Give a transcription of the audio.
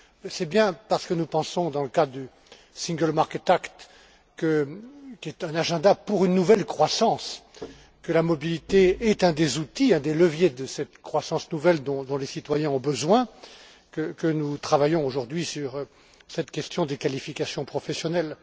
C'est bien parce que nous pensons dans le cadre de l'acte pour le marché unique qui est un agenda pour une nouvelle croissance, que la mobilité est un des outils, un des leviers de cette croissance nouvelle dont les citoyens ont besoin, que nous travaillons aujourd'hui sur cette question des qualifications professionnelles.